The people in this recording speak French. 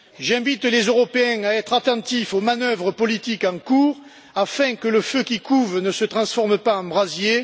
J'invite les Européens à être attentifs aux manœuvres politiques en cours, afin que le feu qui couve ne se transforme pas en brasier.